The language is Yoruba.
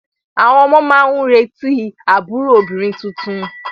Àwọn ọmọ náà ń retí àbúrò obìnrin tuntun.